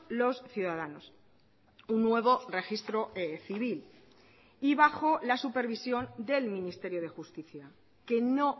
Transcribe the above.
los ciudadanos un nuevo registro civil y bajo la supervisión del ministerio de justicia que no